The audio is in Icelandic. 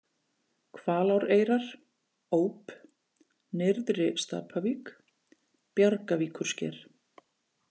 Hvaláreyrar, Óp, Nyrðri-Stapavík, Bjargavíkursker